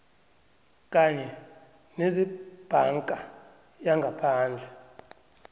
kanye nezebhanka yangaphandle